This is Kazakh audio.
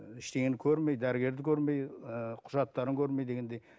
ыыы ештеңені көрмей дәрігерді көрмей ііі құжаттарын көрмей дегендей